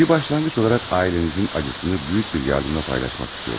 Bir başlanğıc olaraq ailənizin acısını böyük bir yardımla paylaşmaq istəyirəm.